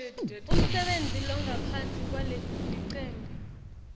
umsebenti longaphansi kwalelicembu